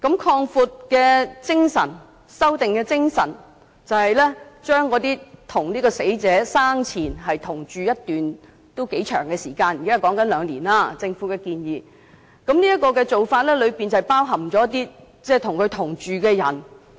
擴大和修訂的精神就是，將與死者生前同住一段頗長時間——現在政府的建議是最少兩年——包含在"相關人士"的定義之內。